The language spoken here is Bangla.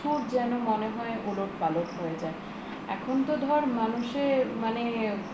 যেন মনে হয় ওলট পালট হয়ে যায় এখন তো ধর মানুষের মানে